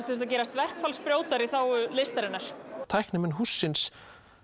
þurftu að gerast verkfallsbrjótar í þágu listarinnar tæknimenn hússins